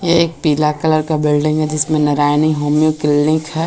ये एक पीला कलर का बिल्डिंग है जिसमें नारायणी होमिओ क्लिनिक है।